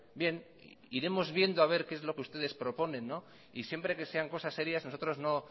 bien iremos viendo a ver qué es lo que ustedes proponen y siempre que sean cosas serias nosotros no